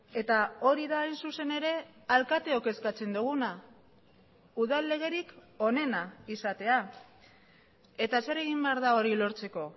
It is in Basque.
eta hori da hain zuzen ere alkateok eskatzen duguna udal legerik onena izatea eta zer egin behar da hori lortzeko